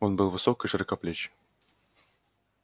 он был высок и широкоплеч